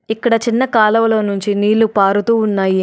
ఇక్కడ చిన్న కాలువలో నుంచి నీళ్లు పారుతూ ఉన్నాయి.